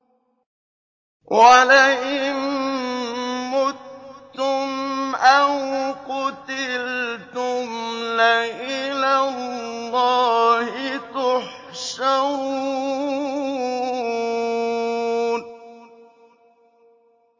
وَلَئِن مُّتُّمْ أَوْ قُتِلْتُمْ لَإِلَى اللَّهِ تُحْشَرُونَ